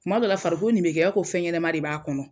Kuma dɔ la, farikolo nin bɛ kɛ ko fɛnɲɛnɛma de b'a kɔnɔ.